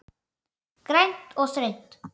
Grænt og þröngt.